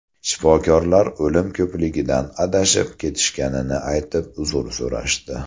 Shifokorlar o‘lim ko‘pligidan adashib ketishganini aytib, uzr so‘rashdi.